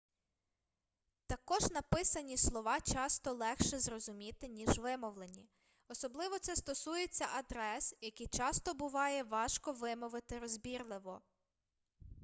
також написані слова часто легше зрозуміти ніж вимовлені особливо це стосується адрес які часто буває важко вимовити розбірливо